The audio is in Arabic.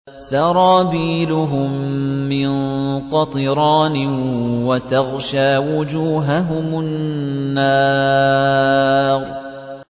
سَرَابِيلُهُم مِّن قَطِرَانٍ وَتَغْشَىٰ وُجُوهَهُمُ النَّارُ